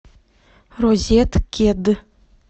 розеткед